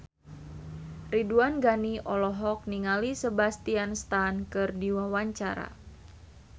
Ridwan Ghani olohok ningali Sebastian Stan keur diwawancara